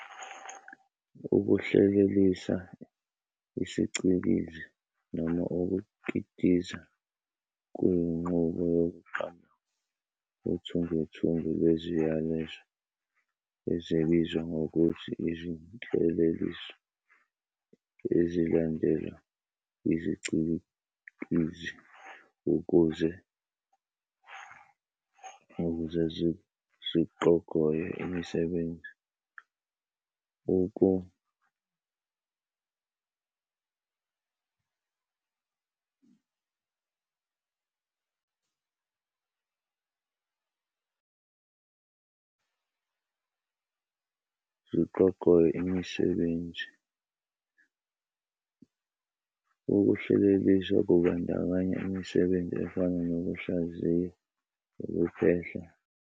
Ukuhlelelisa isicikizi noma ukukitiza kuyinqubo yokuqamba uthungethunge lweziyalezo, ezibizwa ngokuthi izinhleleliso ezilandelwa yizicikizi ukuze ziqhogoye imisebenzi, ziqhogoye imisebenzi. Ukuhlelelisa kubandakanya imisebenzi efana nokuhlaziya, ukuphehla.